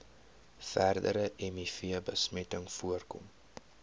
verdere mivbesmetting voorkom